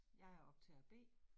Jeg er optager B